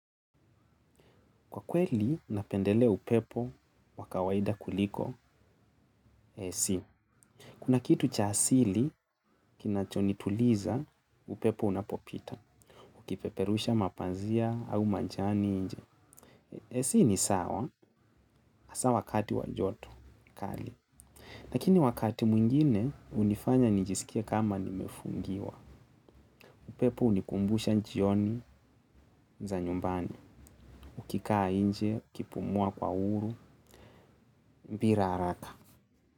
Kwa kweli, napendelea upepo wa kawaida kuliko AC. Kuna kitu cha asili, kinachonituliza upepo unapopita. Ukipeperusha mapazia au majani nje. AC ni sawa, hasa wakati wa joto, kali. Lakini wakati mwingine, hunifanya nijisikie kama nimefungiwa. Upepo hunikumbusha jioni za nyumbani. Ukikaa nje, ukipumua kwa huru, bila haraka.